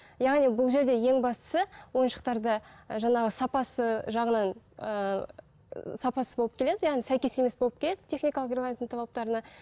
яғни бұл жерде ең бастысы ойыншықтарда ы жаңағы сапасы жағынан ыыы сапасыз болып келеді яғни сәйкес емес болып келеді техникалық регламенттің талаптарына